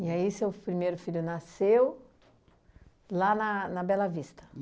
E aí seu f primeiro filho nasceu lá na na Bela Vista?